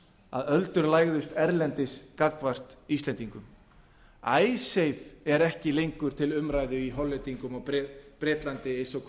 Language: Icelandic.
að öldur lægðust erlendis gagnvart íslendingum icesave er ekki lengur til umræðu í hollandi og bretlandi eins og